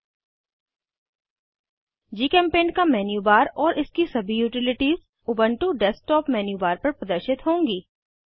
httpgchemutilsnongnuorgpaintmanualindexhtml GChemPaint का menu bar और इसकी सभी यूटिलिटीज़ उबन्टु डेस्कटॉप मेन्यूबार पर प्रदर्शित होंगी